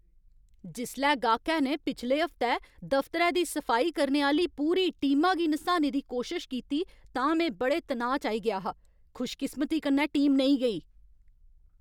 जिसलै गाह्कै ने पिछले हफ्तै दफतरै दी सफाई करने आह्‌ली पूरी टीमा गी नसाने दी कोशश कीती तां में बड़े तनाऽ च आई गेआ हा। खुशकिस्मती कन्नै टीम नेईं गेई।